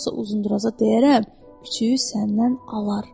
Yoxsa Uzunduraza deyərəm, küçüyü səndən alar.